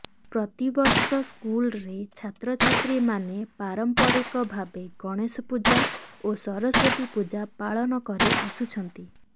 ପ୍ରତିବର୍ଷ ସ୍କୁଲରେ ଛାତ୍ରଛାତ୍ରୀ ମାନେ ପାରମ୍ପରିକ ଭାବେ ଗଣେଶ ପୂଜା ଓ ସରସ୍ୱତୀ ପୂଜା ପାଳନ କରି ଆସୁଛନ୍ତି